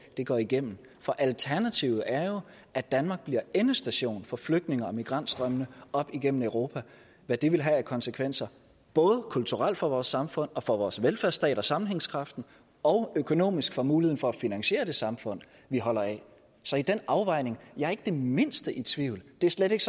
går igennem for alternativet er jo at danmark bliver endestation for flygtninge og migrantstrømmene op igennem europa og at det vil have konsekvenser både kulturelt for vores samfund og for vores velfærdsstat og sammenhængskraft og økonomisk for muligheden for at finansiere det samfund vi holder af så i den afvejning jeg ikke det mindste i tvivl det er slet ikke